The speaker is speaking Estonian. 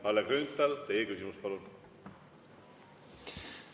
Kalle Grünthal, teie küsimus, palun!